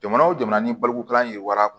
Jamana o jamana ni balokokalan ye wara